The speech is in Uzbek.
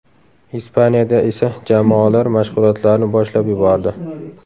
Ispaniyada esa jamoalar mashg‘ulotlarni boshlab yubordi.